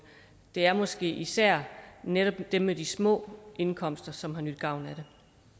er måske især netop dem med de små indkomster som har nydt godt